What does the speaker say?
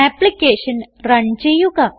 application run ചെയ്യുക